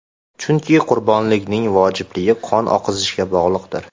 Chunki qurbonlikning vojibligi qon oqizishga bog‘liqdir.